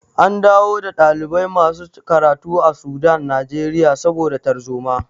An dawo da ɗalibai masu karatu a Sudan Najeriya saboda tarzoma.